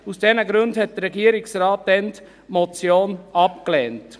Aus diesen Gründen lehnte der Regierungsrat die Motion damals ab.